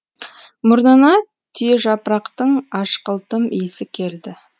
мұрнына түйежапырақтың ашқылтым иісі келді